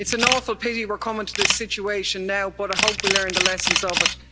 It's an awful pity we're coming to this situation now, but I hope we learned the lessons of it.